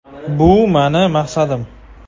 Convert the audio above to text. Bu mening maqsadim.